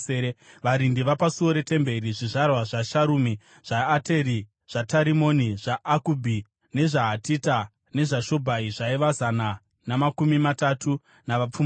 Varindi vapasuo reTemberi: zvizvarwa zvaSharumi, zvaAteri zvaTarimoni zvaAkubhi, nezvaHatita nezvaShobhai zvaiva zana namakumi matatu navapfumbamwe.